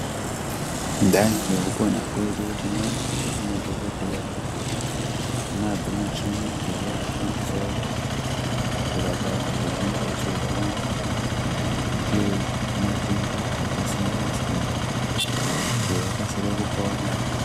Kudai ngekupona kwedu tinoona kuti madhokodheya anadzo mishini dzavaakushandisawo kurapa vantu vanenge vachirwara ngematenda akasiyana siyana kuti vakasire kupona.